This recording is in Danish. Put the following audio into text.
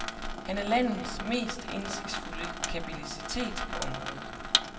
Han er landets mest indsigtsfulde kapacitet på området.